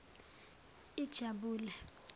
ijabule